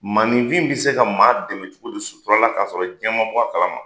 Maaninfin be se ka maa dɛmɛ cogodi sutura la k'a sɔrɔ jiɲɛ ma bɔ a kalama?